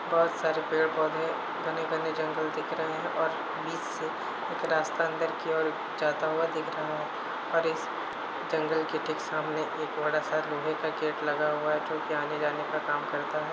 बहुत सारे पेड़ पौधे घने घने जंगल दिख रहे है और बीच से एक रास्ता अंदर की ओर जाता हुआ दिख रहा है और इस जंगल के ठीक सामने एक बड़ा-सा लोहे का गेट लगा हुआ है जोकि आने-जाने का काम करता है।